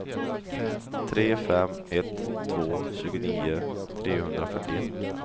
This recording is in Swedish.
tre fem ett två tjugonio trehundrafyrtioett